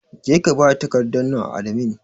Jeka bada takardar nan a adimi!